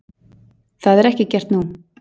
Það er ekki gert nú.